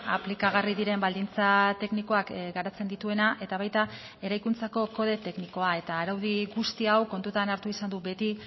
aplikagarri diren baldintza teknikoak garatzen dituena eta baita eraikuntzako kode teknikoa eta araudi guzti hau kontutan hartu izan du beti